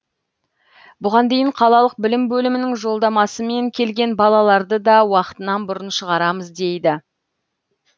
бұған дейін қалалық білім бөлімінің жолдамасымен келген балаларды да уақытынан бұрын шығарамыз дейді